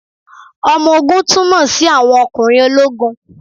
Ọmọ ogun túmọ̀ sí àwọn ọkùnrin ológun.